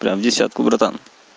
прямо в десятку братан